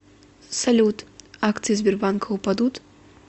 салют акции сбербанка упадут